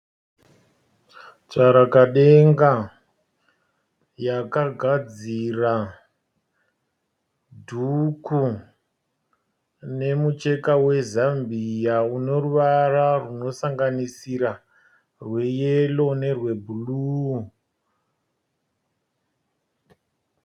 Tsvarakadenga, yakagadzira dhuku nemucheka we Zambia uneruvara runo sanganisira rwe yero nerwe bhuruu.